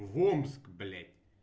в омск блять